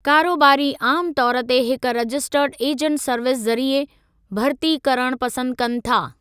कारोबारी आमु तौर ते हिक रजिस्टर्ड एजंट सर्विस ज़रिए भरिती करणु पसंदि कनि था।